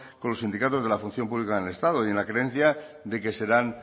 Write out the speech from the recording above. con los sindicatos de la función pública en el estado y con la creencia de que serán